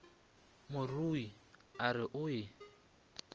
morui a re o e